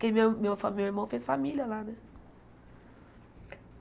Porque meu meu fa meu irmão fez família lá, né?